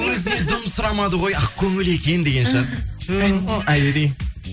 өзіне дым сұрамады ғой ақкөңіл екен деген шығар ту айри